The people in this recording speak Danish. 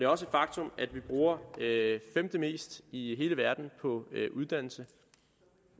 også et faktum at vi bruger femtemest i hele verden på uddannelse